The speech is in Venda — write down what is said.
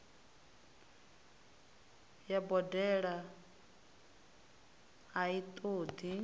ya boḓelo a i ṱoḓi